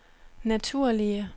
naturlige